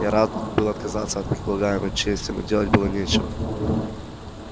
я рад был отказаться от предлагаемой чести но делать было нечего